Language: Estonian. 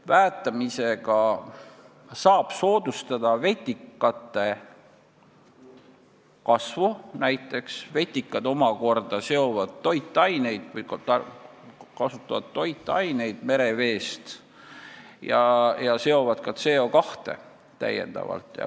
Väetamisega saab näiteks soodustada vetikate kasvu, vetikad omakorda seovad või kasutavad merevees leiduvaid toitaineid ja seovad ka süsihappegaasi.